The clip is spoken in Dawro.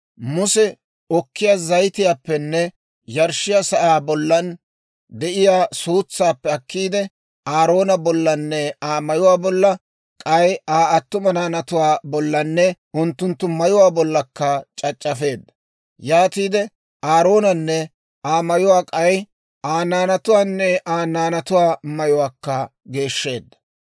Muse okkiyaa zayitiyaappenne yarshshiyaa sa'aa bollan de'iyaa suutsaappe akkiide, Aaroona bollanne Aa mayuwaa bolla, k'ay Aa attuma naanatuwaa bollanne, unttunttu mayuwaa bollakka c'ac'c'afeedda; yaatiide Aaroonanne Aa mayuwaa k'ay Aa naanatuwaanne Aa naanatuwaa mayuwaakka geeshsheedda.